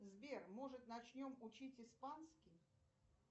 сбер может начнем учить испанский